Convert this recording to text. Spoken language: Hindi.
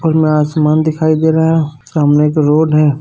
और ऊपर में आसमान दिखाई दे रहा है सामने एक रोड है।